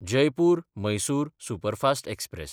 Jaipur-Mysore superfast express